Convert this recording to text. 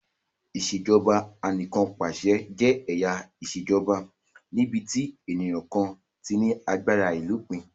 Ìṣèjoba Anìkànpàṣẹ jẹ́ ẹ̀yà ìṣèjoba níbi tí ènìyàn kan ti ní agbára àìlópin